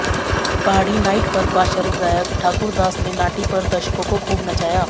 पहाड़ी नाइट पर पार्श्व गायक ठाकुर दास ने नाटी पर दर्शकों को खूब नचाया